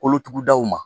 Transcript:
Kolotugudaw ma